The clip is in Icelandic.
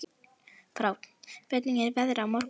Fránn, hvernig er veðrið á morgun?